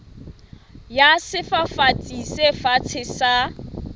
ya sefafatsi se fatshe sa